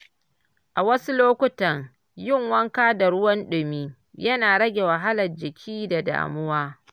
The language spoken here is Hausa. A wasu lokuta, yin wanka da ruwan dumi yana rage wahalar jiki da damuwa.